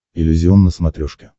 иллюзион на смотрешке